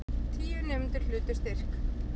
Tíu nemendur hlutu styrk